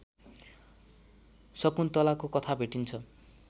शकुन्तलाको कथा भेटिन्छ